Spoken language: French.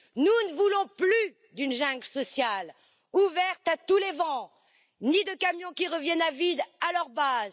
Nous ne voulons plus d'une jungle sociale ouverte à tous les vents, ni de camions qui reviennent à vide à leur base.